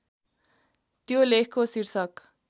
त्यो लेखको शीर्षक